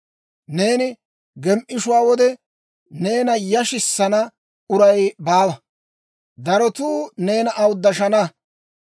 Neeni gem"ishshiyaa wode, neena yashissana uray baawa; darotuu neena awuddashana.